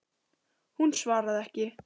Hún svaraði ekki.